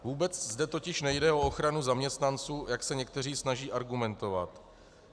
Vůbec zde totiž nejde o ochranu zaměstnanců, jak se někteří snaží argumentovat.